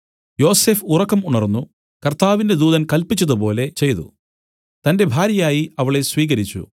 യോസഫ് ഉറക്കം ഉണർന്നു കർത്താവിന്റെ ദൂതൻ കല്പിച്ചതുപോലെ ചെയ്തു തന്റെ ഭാര്യയായി അവളെ സ്വീകരിച്ചു